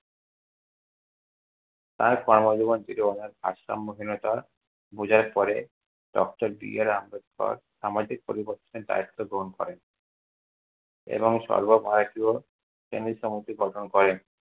তাঁর কর্মজীবন ছিল অনেক ভারসাম্যহীনতা বোঝার পরে, doctor বি. আর. আম্বেদকর সামাজিক পরিবর্তনের দায়িত্ব গ্রহণ করেন। এবং সর্বভারতীয় গঠন করেন।